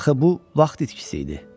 Axı bu vaxt itkisi idi.